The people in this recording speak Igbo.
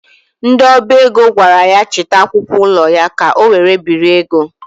Ndị ọba ego gwara ya chịta akwụkwọ ụlọ ya ka ọ were biri ego.